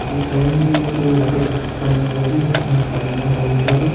उधर साइड में एक वाटर पार्क बना हुआ है जिसमें पानी भरा हुआ है।